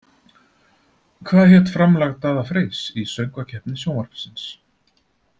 Hvað hét framlag Daða Freys í Söngvakeppni Sjónvarpsins?